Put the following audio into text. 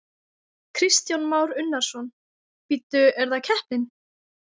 Kristján Már Unnarsson: Bíddu, er það keppnin?